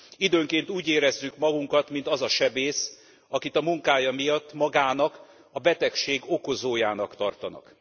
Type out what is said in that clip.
Időnként úgy érezzük magunkat, mint az a sebész, akit a munkája miatt magának a betegség okozójának tartanak.